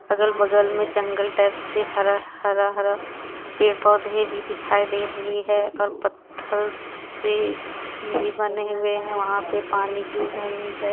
अगल बगल में जंगल टाइप से हरा हरा पेड़ पौधे भी दिखाई दे रही है और पत्थर से भी बने हुए हैं वहां पे पानी गिर रहे हैं.